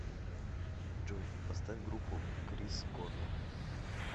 джой поставь группу крис корнелл